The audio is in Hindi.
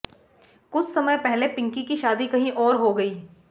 कुछ समय पहले पिंकी की शादी कहीं और हो गई